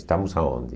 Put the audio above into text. Estamos aonde?